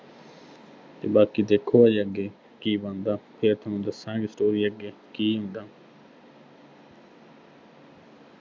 ਤੇ ਬਾਕੀ ਦੇਖੋ ਹਜੇ ਅੱਗੇ ਕੀ ਬਣਦਾ, ਫਿਰ ਥੋਨੂੰ ਦੱਸਾਂਗੇ story ਅੱਗੇ ਕੀ ਹੁੰਦਾ।